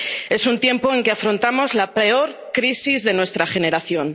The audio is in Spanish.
Es un tiempo en que afrontamos la peor crisis de nuestra generación.